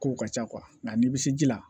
Kow ka ca nka n'i bɛ se ji la